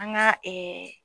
An ga ɛɛ